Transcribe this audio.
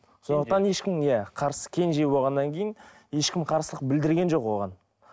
сондықтан ешкім иә қарсы кенже болғаннан кейін ешкім қарсылық білдірген жоқ оған